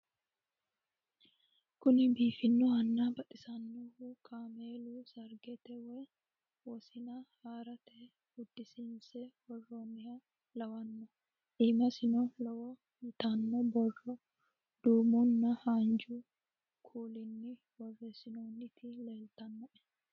Kunni biifanohuna baxisanohu kaammelu sariggete woyi wosinna haarate uddisiinise woroniha lawwano iimasino love yitano borro duumuna haanijju kuulinni boresinnoniti leelitanoe